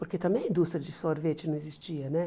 Porque também a indústria de sorvete não existia né.